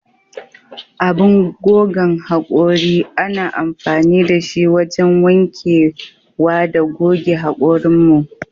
Abin gogan hakuri ana amfani da shi wajan wanke wa da goge hakurin mu.